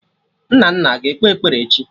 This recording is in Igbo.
Nnanna aga ekpe ekpere echi?